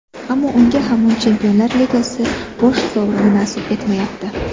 Ammo unga hamon Chempionlar Ligasi bosh sovrini nasib etmayapti.